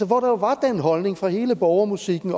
hvor der jo var den holdning fra hele borgermusikkens